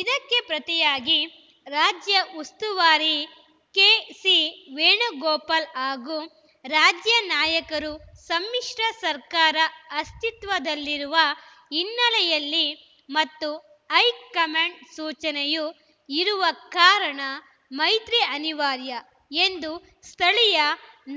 ಇದಕ್ಕೆ ಪ್ರತಿಯಾಗಿ ರಾಜ್ಯ ಉಸ್ತುವಾರಿ ಕೆಸಿ ವೇಣುಗೋಪಾಲ್‌ ಹಾಗೂ ರಾಜ್ಯ ನಾಯಕರು ಸಮ್ಮಿಶ್ರ ಸರ್ಕಾರ ಅಸ್ತಿತ್ವದಲ್ಲಿರುವ ಹಿನ್ನೆಲೆಯಲ್ಲಿ ಮತ್ತು ಹೈಕಮಾಂಡ್‌ ಸೂಚನೆಯೂ ಇರುವ ಕಾರಣ ಮೈತ್ರಿ ಅನಿವಾರ್ಯ ಎಂದು ಸ್ಥಳೀಯ